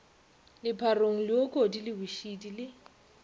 lepharong leokodi le bošidi le